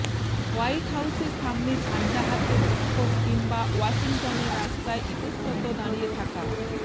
white হাউসের সামনে ঝান্ডা হাতে বিক্ষোভ কিংবা ওয়াশিংটনের রাস্তায় ইতস্তত দাঁড়িয়ে থাকা